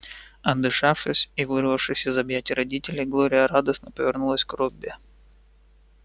отдышавшись и вырвавшись из объятий родителей глория радостно повернулась к робби